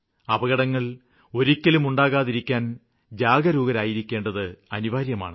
അപകടങ്ങള് ഒരിക്കലും ഉണ്ടാകാതിരിക്കാന് ജാഗരൂകരായിരിക്കേണ്ടത് അനിവാര്യമാണ്